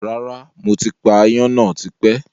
Rárá, mo ti pa áyán náà tipẹ́